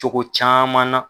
Togo caman na.